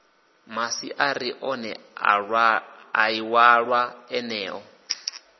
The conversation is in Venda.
masiaari ohe a iwalwa eneo